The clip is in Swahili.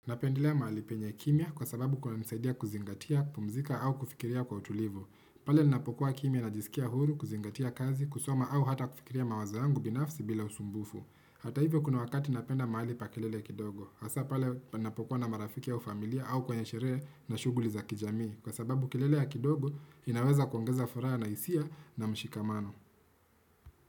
Napendelea mahali penye kimya kwa sababu kunanisaidia kuzingatia, kupumzika au kufikiria kwa utulivu. Pale ninapokuwa kimya najisikia huru, kuzingatia kazi, kusoma au hata kufikiria mawazo yangu binafsi bila usumbufu. Hata hivyo kuna wakati napenda mahali pa kilele kidogo. Hasa pale ninapokuwa na marafiki au familia au kwenye sherehe na shughuli za kijamii. Kwa sababu kelele ya kidogo inaweza kuongeza furaha na hisia na mshikamano.